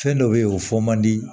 Fɛn dɔ be ye o fɔ man di